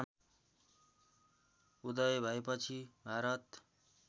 उदय भएपछि भारत